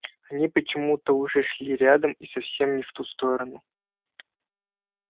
они почему-то уже шли рядом и совсем не в ту сторону